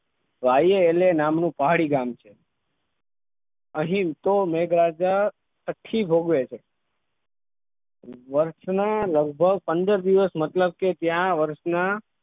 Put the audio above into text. દ્રવ્ય નામનું પહાડી ગામ છે અહીં તો મેઘરાજા તથા થી ભોગવે છે વર્ષના લગભગ પંદર દિવસ કે મતલબ કે ત્યાં વર્ષના